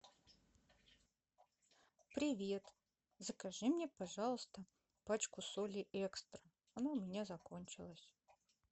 привет закажи мне пожалуйста пачку соли экстра она у меня закончилась